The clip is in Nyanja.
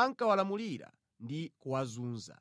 ankawalamulira ndi kuwazunza.